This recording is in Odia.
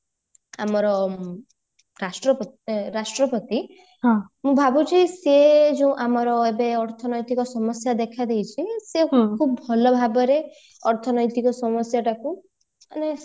ଆମର ରାଷ୍ଟ୍ର ରାଷ୍ଟ୍ରପତି ମୁଁ ଭାବୁଛି ସେ ଯୋଉ ଆମର ଏବେ ଅର୍ଥନୈତିକ ସମସ୍ୟା ଦେଖା ଦେଇଛି ସେଆମକୁ ଭଲ ଭାବରେ ଅର୍ଥନୈତିକ ସମସ୍ୟା ଟାକୁ ମାନେ